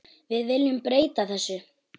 Við viljum breyta þessu.